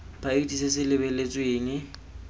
ba itse se se lebeletsweng